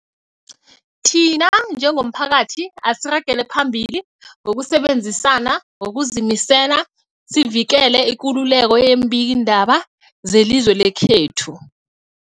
Thina njengomphakathi, asiragele phambili ngokusebenzisana ngokuzimisela sivikele ikululeko yeembikiindaba zelizwe lekhethu.